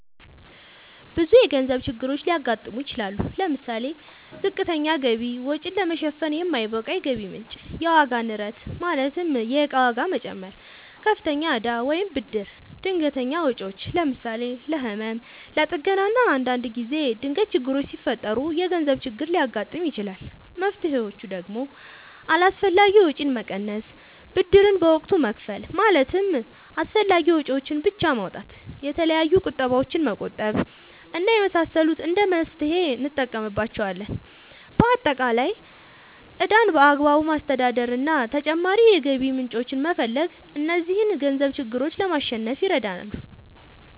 ብዙ የገንዘብ ችግሮች ሊያጋጥሙ ይችላሉ። ለምሳሌ፦ ዝቅተኛ ገቢ(ወጪን ለመሸፈን የማይበቃ የገቢ ምንጭ) ፣የዋጋ ንረት ማለትም የእቃ ዋጋ መጨመር፣ ከፍተኛ እዳ ወይም ብድር፣ ድንገተኛ ወጪዎች ለምሳሌ፦ ለህመም፣ ለጥገና እና አንዳንድ ጊዜ ድንገት ችግሮች ሲፈጠሩ የገንዘብ ችግር ሊያጋጥም ይችላል። መፍትሔዎቹ ደግሞ አላስፈላጊ ወጪን መቀነስ፣ ብድርን በወቅቱ መክፈል ማለትም አስፈላጊ ወጪዎችን ብቻ ማውጣት፣ የተለያዩ ቁጠባዎችን መቆጠብ እና የመሳሰሉት እንደ መፍትሔ እንጠቀምባቸዋለን። በአጠቃላይ ዕዳን በአግባቡ ማስተዳደር እና ተጨማሪ የገቢ ምንጮችን መፈለግ እነዚህን የገንዘብ ችግሮች ለማሸነፍ ይረዳሉ።